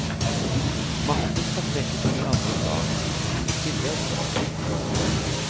Hvis matte skal trekkes inn i andre fag, må det komme i tillegg, mener de.